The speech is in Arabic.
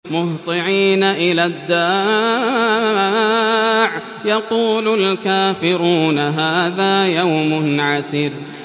مُّهْطِعِينَ إِلَى الدَّاعِ ۖ يَقُولُ الْكَافِرُونَ هَٰذَا يَوْمٌ عَسِرٌ